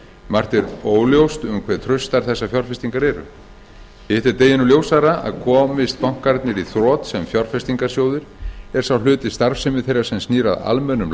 margt er óljóst um hve traustar þessar fjárfestingar eru hitt er deginum ljósara að komist bankarnir í þrot sem fjárfestingarsjóðir er sá hluti starfsemi þeirra sem snýr að almennum